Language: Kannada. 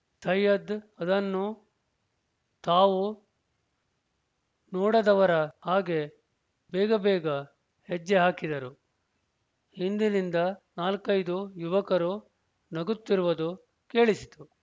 ಸೈಯದ್ ಅದನ್ನು ತಾವು ನೋಡದವರ ಹಾಗೆ ಬೇಗಬೇಗ ಹೆಜ್ಜೆ ಹಾಕಿದರು ಹಿಂದಿನಿಂದ ನಾಲ್ಕೈದು ಯುವಕರು ನಗುತ್ತಿರುವದು ಕೇಳಿಸಿತು